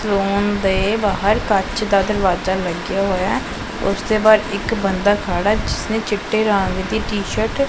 room ਦੇ ਬਾਹਰ ਕੱਚ ਦਾ ਦਰਵਾਜ਼ਾ ਲੱਗਿਆ ਹੋਇਆ ਉਸਦੇ ਬਾਹਰ ਇੱਕ ਬੰਦਾ ਖੜਾ ਜਿਸਨੇ ਚਿੱਟੇ ਰੰਗ ਦੀ ਟੀਸ਼ਰਟ --